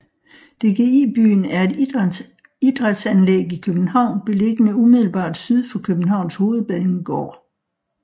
DGI Byen er et idrætsanlæg i København beliggende umiddelbart syd for Københavns Hovedbanegård